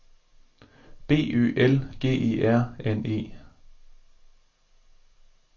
B Ø L G E R N E